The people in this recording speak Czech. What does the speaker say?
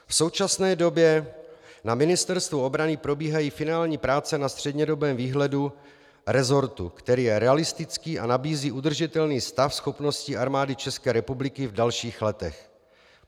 V současné době na Ministerstvu obrany probíhají finální práce na střednědobém výhledu resortu, který je realistický a nabízí udržitelný stav schopností Armády České republiky v dalších letech.